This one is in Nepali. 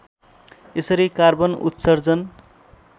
यसरी कार्बन उत्सर्जन